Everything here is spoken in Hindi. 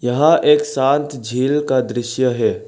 यह एक शांत झील का दृश्य है।